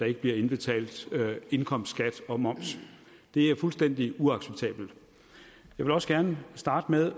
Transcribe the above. ikke bliver indbetalt indkomstskat og moms det er fuldstændig uacceptabelt jeg vil også gerne starte med